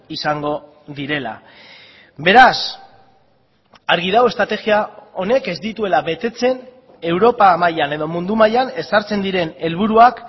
izango direla beraz argi dago estrategia honek ez dituela betetzen europa mailan edo mundu mailan ezartzen diren helburuak